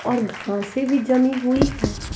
और घासें भी जमीं हुई हैं।